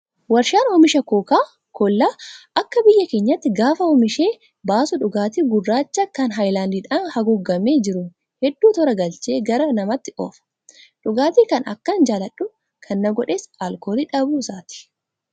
Warshaan oomisha kookaa kollaa akka biyya keenyaatti gaafa oomishee baasu dhugaatii gurraacha kan haayilaandiidhaan haguugamee jiru hedduu toora galchee gara namaatti oofa. Dhugaatii kana akkan jaalladhu kan na godhes alkoolii dhabuu isaati,